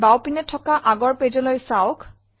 বাওপিনে থকা আগৰ pageলৈ চাওক